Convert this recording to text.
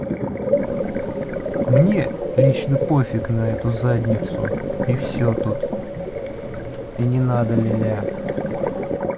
мне лично пофиг на эту задницу и всё тут и не надо ля-ля